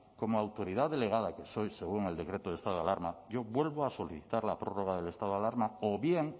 como autoridad delegada que soy según el decreto del estado de alarma yo vuelvo a solicitar la prórroga del estado de alarma o bien